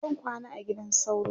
zan kwana a gidan sauro